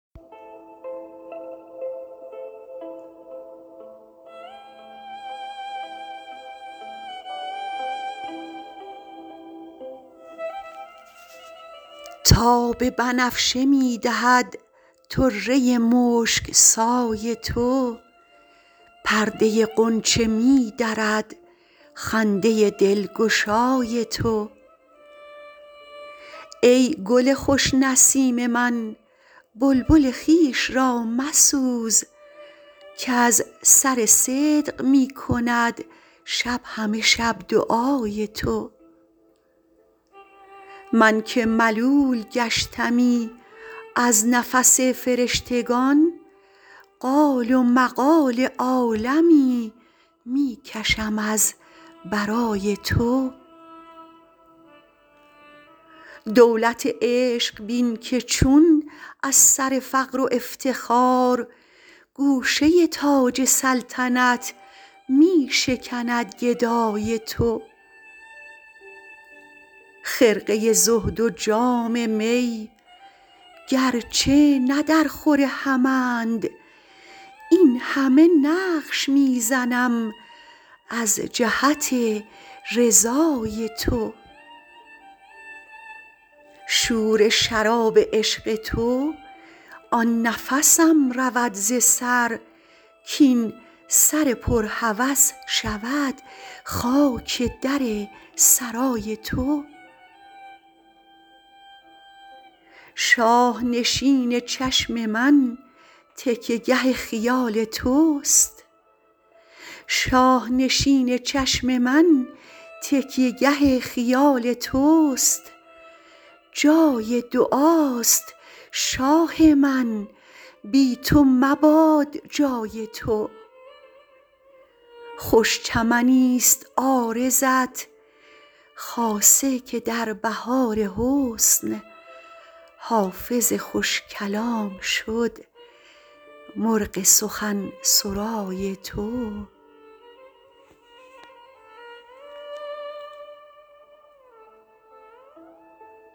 تاب بنفشه می دهد طره مشک سای تو پرده غنچه می درد خنده دلگشای تو ای گل خوش نسیم من بلبل خویش را مسوز کز سر صدق می کند شب همه شب دعای تو من که ملول گشتمی از نفس فرشتگان قال و مقال عالمی می کشم از برای تو دولت عشق بین که چون از سر فقر و افتخار گوشه تاج سلطنت می شکند گدای تو خرقه زهد و جام می گرچه نه درخور همند این همه نقش می زنم از جهت رضای تو شور شراب عشق تو آن نفسم رود ز سر کاین سر پر هوس شود خاک در سرای تو شاه نشین چشم من تکیه گه خیال توست جای دعاست شاه من بی تو مباد جای تو خوش چمنیست عارضت خاصه که در بهار حسن حافظ خوش کلام شد مرغ سخن سرای تو